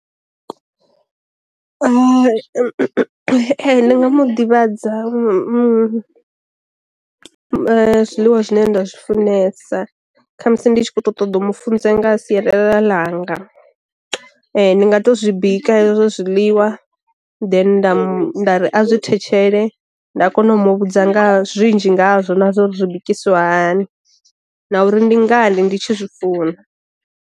Ndi nga mu ḓivhadza mu zwiḽiwa zwine nda zwi funesa kha musi ndi tshi kho ṱoḓa u mu funza nga sialala langa. Ndi nga to zwi bika hezwo zwiḽiwa then nda mu nda ri a zwi thetshele nda kona u mu vhudza nga zwinzhi ngazwo na zwo ri bikisiwa hani, na uri ndi nga ndi ndi tshi zwifuna.